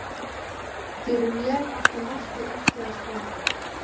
Fyrir mér átti markið ekki að standa.